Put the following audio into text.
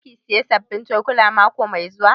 Za ki saya sabbin cokula mako mai zuwa?